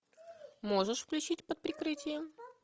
можешь включить под прикрытием